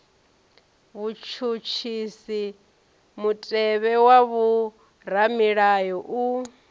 vhutshutshisi mutevhe wa vhoramilayo u